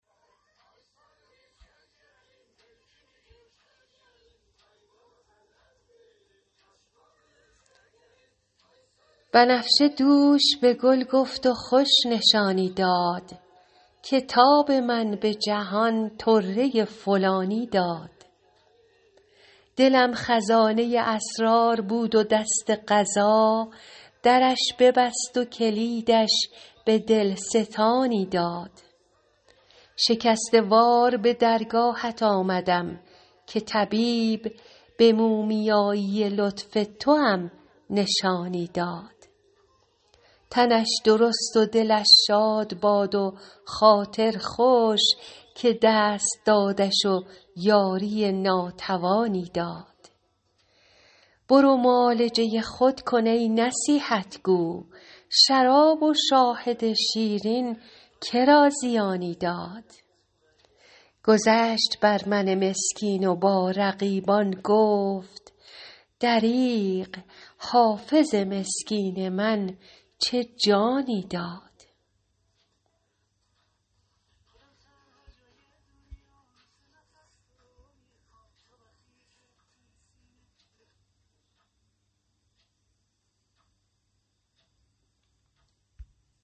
بنفشه دوش به گل گفت و خوش نشانی داد که تاب من به جهان طره فلانی داد دلم خزانه اسرار بود و دست قضا درش ببست و کلیدش به دل ستانی داد شکسته وار به درگاهت آمدم که طبیب به مومیایی لطف توام نشانی داد تنش درست و دلش شاد باد و خاطر خوش که دست دادش و یاری ناتوانی داد برو معالجه خود کن ای نصیحت گو شراب و شاهد شیرین که را زیانی داد گذشت بر من مسکین و با رقیبان گفت دریغ حافظ مسکین من چه جانی داد